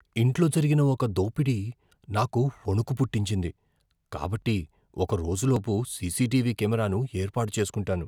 ఇంట్లో జరిగిన ఒక దోపిడీ నాకు వణుకు పుట్టించింది, కాబట్టి ఒక రోజులోపు సీసీటీవీ కెమెరాను ఏర్పాటు చేస్కుంటాను.